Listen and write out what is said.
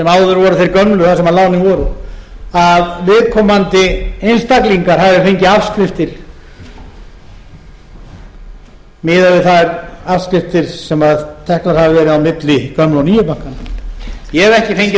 voru þeir gömlu þar sem lánin voru að viðkomandi einstaklingar hafi fengið afskriftir miðað við þær afskriftir sem teknar hafa verið á milli gömlu og nýju bankanna ég hef ekki fengið